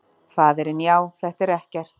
Faðirinn: Já, þetta er ekkert.